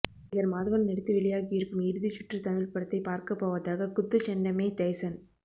நடிகர் மாதவன் நடித்து வெளியாகி இருக்கும் இறுதிச்சுற்று தமிழ் படத்தை பார்க்கப்போவதாக குத்துச்சண்டைமைக் டைசன்